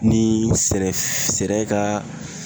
Ni sɛnɛ ka